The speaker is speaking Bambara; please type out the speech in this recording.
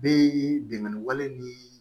Bɛ binkani wale ni